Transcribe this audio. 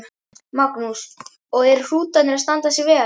Magnús: Og eru hrútarnir að standa sig vel?